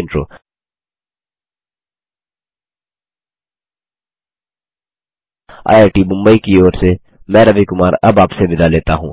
Intro IIT Mumbai की ओर से मैं रवि कुमार अब आपसे विदा लेता हूँ